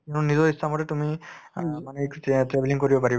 কিয়নো নিজৰ ইচ্ছা মতে তুমি অ মানে এই travelling কৰিব পাৰিবা